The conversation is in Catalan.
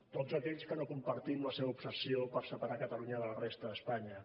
tots aquells que no compartim la seva obsessió per separar catalunya de la resta d’espanya